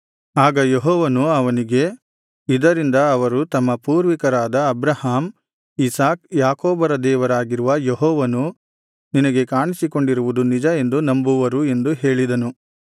ಆಗ ಯೆಹೋವನು ಅವನಿಗೆ ಇದರಿಂದ ಅವರು ತಮ್ಮ ಪೂರ್ವಿಕರಾದ ಅಬ್ರಹಾಮ್ ಇಸಾಕ್ ಯಾಕೋಬರ ದೇವರಾಗಿರುವ ಯೆಹೋವನು ನಿನಗೆ ಕಾಣಿಸಿಕೊಂಡಿರುವುದು ನಿಜ ಎಂದು ನಂಬುವರು ಎಂದು ಹೇಳಿದನು